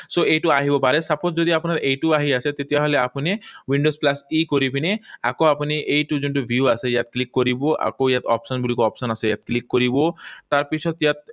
So, এইটো আহিব পাৰে। Suppose যদি আপোনাৰ এইটো আহি আছে, তেতিয়াহলে আপুনি windows plus E কৰি পিনে আকৌ আপুনি এইটো যোনটো view আছে, ইয়াত click কৰিব। আকৌ ইয়াত option বুলি কয়, option আছে, ইয়াত click কৰিব। তাৰপিছত ইয়াত